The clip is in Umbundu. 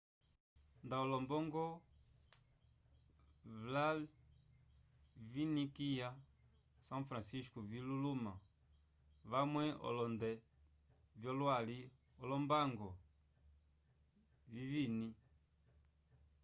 nda olombongo vla viñiviikaya são francisco vi luluma vamwe olonde vyo lwali olombango viñiviñi